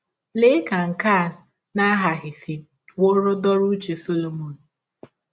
Lee ka nke a na - aghaghị isiwọrị dọrọ ụche Solomọn!